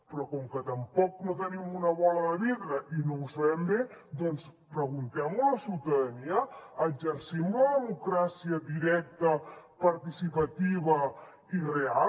però com que tampoc no tenim una bola de vidre i no ho sabem bé doncs preguntem ho a la ciutadania exercim la democràcia directa participativa i real